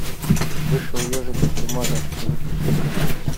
вышел ежик из тумана запусти ка